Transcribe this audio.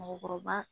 Mɔɔkɔrɔba